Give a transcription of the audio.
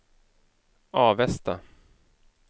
Avesta